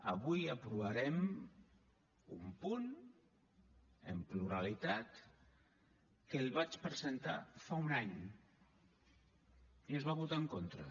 avui aprovarem un punt en pluralitat que el vaig presentar fa un any i s’hi va votar en contra